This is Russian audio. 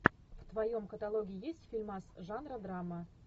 в твоем каталоге есть фильмас жанра драма